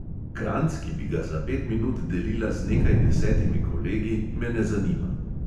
Kranjc, ki bi ga za pet minut delila z nekaj desetimi kolegi, me ne zanima.